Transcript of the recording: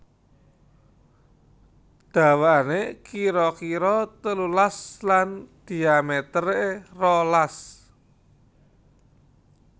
Dawané kira kira telulas lan dhiamétéré rolas